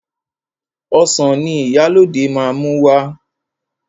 Ọsàn ni Ìyálóde máa mú wá.